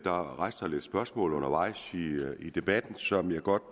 rejst nogle spørgsmål undervejs i debatten som jeg godt